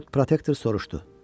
Lord Protektor soruşdu: